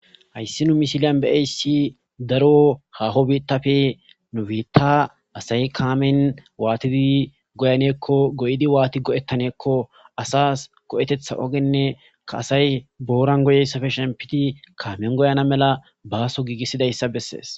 hayssi nu misiliyan beeyssi daro haho biitafe nufiita asay kaamen waatidi goyaneekko goyidi waati go7ettaneekko asas go7etetha ogenne ka asay booran goyessafe shempiti kaamen goyana mela baaso giigissidayssa bessees